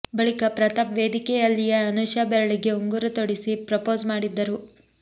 ಬಳಿಕ ಪ್ರತಾಪ್ ವೇದಿಕೆಯಲ್ಲಿಯೇ ಅನುಷಾ ಬೆರಳಿಗೆ ಉಂಗುರ ತೊಡಿಸಿ ಪ್ರಪೋಸ್ ಮಾಡಿದ್ದರು